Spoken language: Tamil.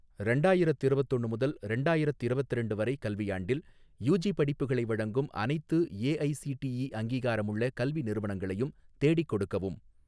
ரெண்டாயிரத்திரவத்தொன்னு முதல் ரெண்டாயிரத்திரவத்திரண்டு வரை கல்வியாண்டில் யூஜி படிப்புகளை வழங்கும் அனைத்து ஏஐஸிடிஇ அங்கீகாரமுள்ள கல்வி நிறுவனங்களையும் தேடிக் கொடுக்கவும்